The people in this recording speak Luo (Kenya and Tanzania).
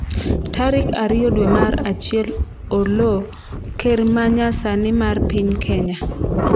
tarik ariyo dwe mar achiel Oloo:Ker ma nya sani mar piny Kenya